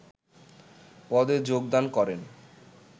পদে যোগদান করেন